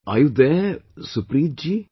Are you there Supreet ji